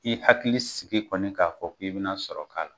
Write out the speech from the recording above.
I hakili sigi kɔni k'a fɔ k'i bɛna sɔrɔ k'a